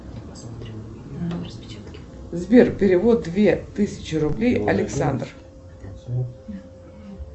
сбер перевод две тысячи рублей александр